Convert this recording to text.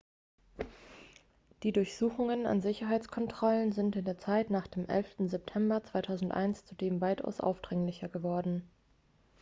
die durchsuchungen an sicherheitskontrollen sind in der zeit nach dem 11. september 2001 zudem weitaus aufdringlicher geworden